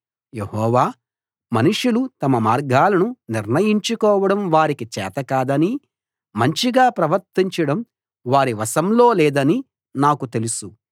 యెహోవా మనుషులు తమ మార్గాలను నిర్ణయించుకోవడం వారికి చేతకాదనీ మంచిగా ప్రవర్తించడం వారి వశంలో లేదనీ నాకు తెలుసు